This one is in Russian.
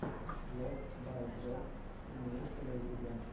влог бай дроздс имеется ли у тебя